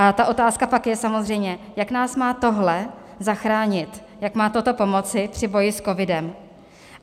A ta otázka pak je samozřejmě, jak nás má tohle zachránit, jak má toto pomoci při boji s covidem.